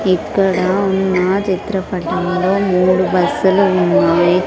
ఇక్కడ ఉన్న చిత్రపటంలో మూడు బస్స లు ఉన్నాయి.